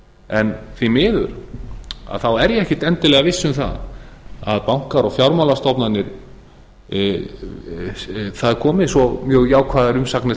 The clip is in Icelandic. en því miður er ég ekkert endilega viss um það að það komi svo jákvæðar umsagnar brá banka og